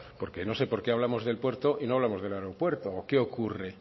porque no sé por qué hablamos del puerto y no hablamos del aeropuerto o qué ocurre